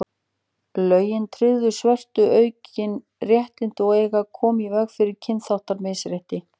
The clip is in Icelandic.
lögin tryggðu svörtum aukin réttindi og eiga að koma í veg fyrir kynþáttamisrétti